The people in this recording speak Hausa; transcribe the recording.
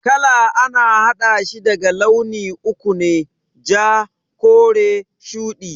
Kala a na haɗashi daga launi uku ne, ja, kore, shudi